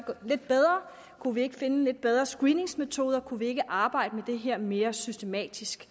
lidt bedre kunne vi ikke finde nogle lidt bedre screeningsmetoder kunne vi ikke arbejde mere systematisk